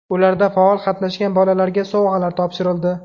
Ularda faol qatnashgan bolalarga sovg‘alar topshirildi.